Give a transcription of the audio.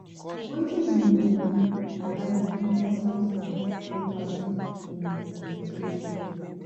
wetin you know about di importance of empathy in education?